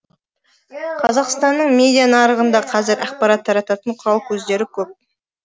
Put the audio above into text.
қазақстанның медиа нарығында қазір ақпарат тарататын құрал көздері көп